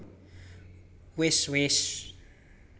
Wis wés